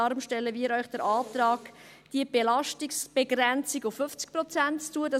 Deshalb stellen wir Ihnen den Antrag, diese Belastungsbegrenzung auf 50 Prozent zu setzen.